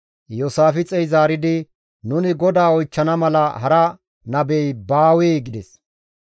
Iyoosaafixey zaaridi, «Nuni GODAA oychchana mala hara nabey baawee?» gides.